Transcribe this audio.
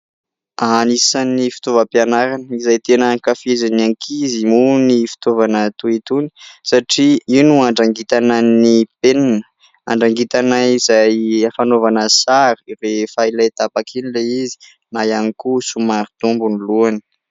Anisan'ny fitaovam-pianarana izay tena ankafizin'ny ankizy moa ny fitaovana toy itony satria io no andrangitana ny penina, andrangitana izay hanaovana sary rehefa ilay tapaka iny ilay izy na ihany koa somary dombo ny lohany.